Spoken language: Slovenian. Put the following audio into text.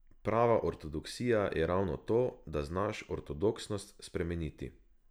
Prava ortodoksija je ravno to, da znaš ortodoksnost spremeniti.